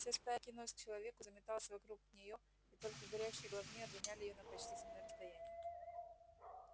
вся стая кинулась к человеку заметалась вокруг неё и только горящие головни отгоняли её на почтительное расстояние